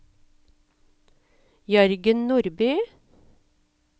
Jørgen Nordby